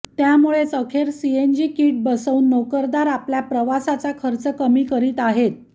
त्यामुळेच अखेर CNG kit बसवून नोकरदार आपल्या प्रवासाचा खर्च कमी करीत आहेत